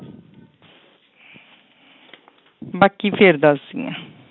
ਬਾਕੀ ਫਿਰ ਦੱਸਦੀ ਹਾਂ।